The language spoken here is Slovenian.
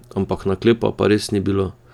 Ampak naklepa pa res ni bilo!